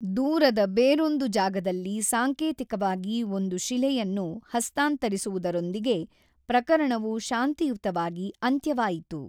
ದೂರದ ಬೇರೊಂದು ಜಾಗದಲ್ಲಿ ಸಾಂಕೇತಿಕವಾಗಿ ಒಂದು ಶಿಲೆಯನ್ನು ಹಸ್ತಾಂತರಿಸುವುದರೊಂದಿಗೆ ಪ್ರಕರಣವು ಶಾಂತಿಯುತವಾಗಿ ಅಂತ್ಯವಾಯಿತು.